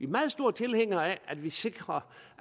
meget store tilhængere af at vi sikrer